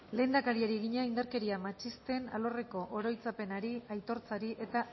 lehendakariari egina indarkeria matxisten alorreko oroitzapenari aitortzari eta